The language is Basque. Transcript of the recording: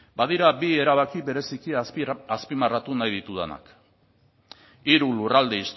badira bi erabaki bereziki azpimarratu nahi ditudanak hiru lurralde